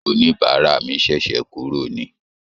Oníbàárà mi ṣẹ̀ṣẹ̀ kúrò ni